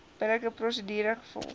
billike prosedure gevolg